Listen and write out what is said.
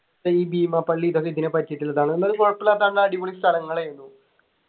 ഈ ബീമാപ്പള്ളി ഇതൊക്കെ ഇതിനെപറ്റിട്ടുള്ളതാണ് എന്നാലും കൊഴപ്പുല്ലാത്ത നല്ല അടിപൊളി സ്ഥലങ്ങളെനു